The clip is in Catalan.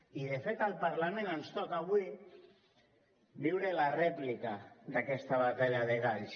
i de fet al parlament ens toca avui viure la rèplica d’aquesta batalla de galls